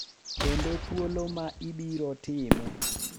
Kendo thuolo ma ibiro time.